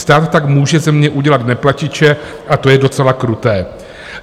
Stát tak může ze mě udělat neplatiče, a to je docela kruté."